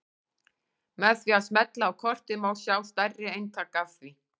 Með því að smella á kortið má sjá stærri eintak af því.